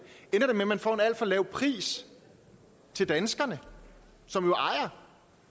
og at man får en alt for lav pris til danskerne som jo ejer